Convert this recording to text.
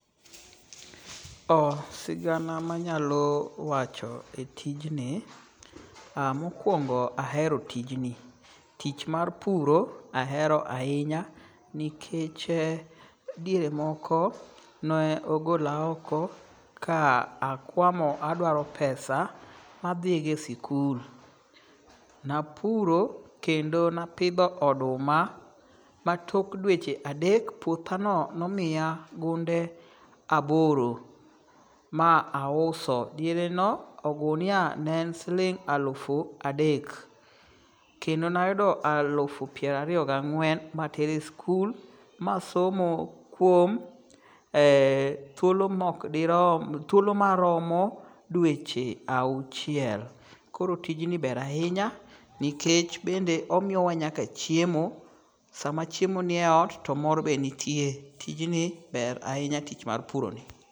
Sigana manyalo wacho e tijni, mokwongo ahero tijni. Tich mar puro ahero ahinya nikech diere moko ne ogola oko ka akwamo adwaro pesa madhi go e sikul. Napuro kendo napidho oduma ma tok dweche adek, puothano nomiya gunde aboro, ma auso. Diereno, ogunia ne en siling' alufu adek. Kendo nayudo alufu piero ariyo gang'wen matere e sikul ma asomo kuom thuolo maromo dweche auchiel. Koro tijni ber ahinya nikech bende omiyowa nyaka chiemo. Sama chiemo nie ot to mor be nitie. Tijni ber ahinya tich mar puroni.